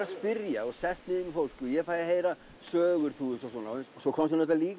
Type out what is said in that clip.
að spyrja og sest niður með fólki og fæ að heyra sögur svo